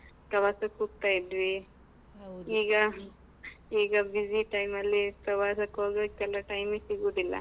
ಪ್ರವಾಸಕ್ಕ್ ಹೋಗ್ತಾ ಇದ್ವಿ ಈಗ busy time ಲ್ಲಿ ಪ್ರವಾಸಕ್ಕ್ ಹೋಗಕ್ಕೆಲ್ಲ time ಸಿಗುದಿಲ್ಲಾ.